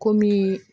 Komi